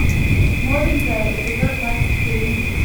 новенькая эпизод двадцать семь